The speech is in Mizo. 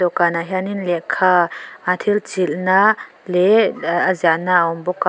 dawhkanah hianin lehkha thil chilhna leh a ziahna a awm bawk a.